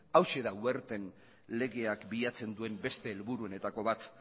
hauxe da werten legeak bilatzen duen beste helburuenetako bat